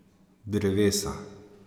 Drevesa.